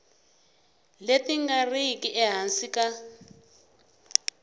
leti nga riki ehansi ka